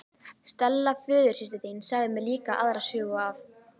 Stella föðursystir þín sagði mér líka aðra sögu af